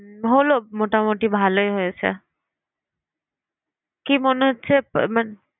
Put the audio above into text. হলো মোটামুটি ভালই হয়েছে কি মনে হচ্ছে মানে